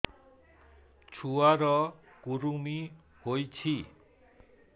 ଛୁଆ ର କୁରୁମି ହୋଇଛି